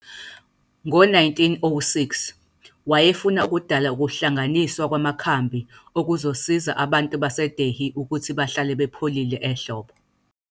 Ngo-1906, wayefuna ukudala ukuhlanganiswa kwamakhambi okuzosiza abantu baseDelhi ukuthi bahlale bepholile ehlobo.